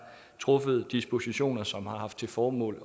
truffet dispositioner som har haft til formål